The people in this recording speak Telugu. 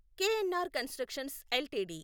KNR constructions LTD